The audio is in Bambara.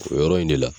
O yɔrɔ in de la